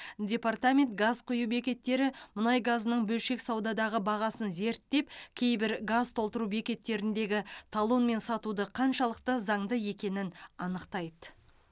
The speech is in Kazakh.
департамент газ құю бекеттері мұнай газының бөлшек саудадағы бағасын зерттеп кейбір газ толтыру бекеттеріндегі талонмен сатуды қаншалықты заңды екенін анықтайды